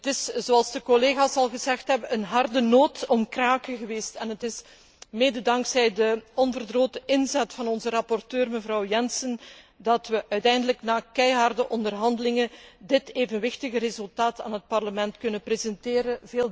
Het was, zoals de collega's al gezegd hebben, een hard noot om te kraken en het is mede dankzij de onverdroten inzet van onze rapporteur, mevrouw Jensen, dat we uiteindelijk na keiharde onderhandelingen dit evenwichtige resultaat aan het Parlement kunnen presenteren.